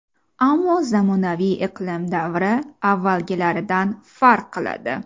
Ammo zamonaviy iqlim davri avvalgilaridan farq qiladi.